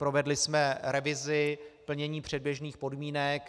Provedli jsme revizi plnění předběžných podmínek.